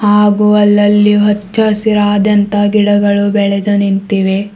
ಹಾಗು ಅಲ್ಲಲ್ಲಿ ಹಚ್ಚ ಹಸಿರಾದಂತ ಗಿಡಮರಗಳು ಬೆಳೆದು ನಿಂತಿವೆ.